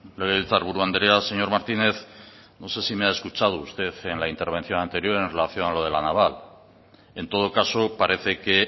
legebiltzarburu andrea señor martínez no sé si me ha escuchado usted en la intervención anterior en relación a lo de la naval en todo caso parece que